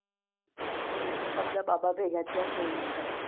કેટલા બધા બાબા ભેગા થયા છે આઇયા